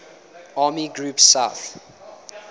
army group south